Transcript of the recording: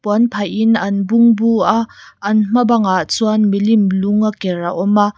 puan phahin an bungbu a an hma bangah chuan milim lung a ker a awm a.